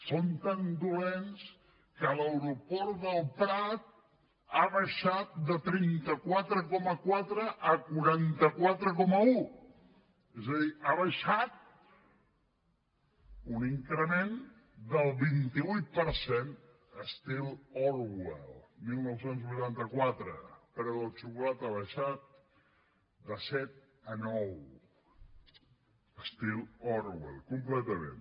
són tan dolents que l’aeroport del prat ha baixat de trenta quatre coma quatre a quaranta quatre coma un és a dir ha baixat un increment del vint vuit per cent estil orwell dinou vuitanta quatre el preu de la xocolata ha baixat de set a nou estil orwell completament